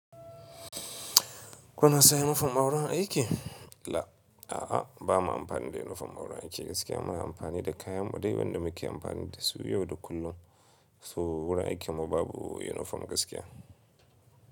Kuna sanya inifom na wurin aiki? La, a'a bama amfani da inifom na wurin aiki gaskiya. Muna amfani da kayan mu dai wanda muke amfani dasu yau da kullum. So wurin aikin mu babu inifom gaskiya.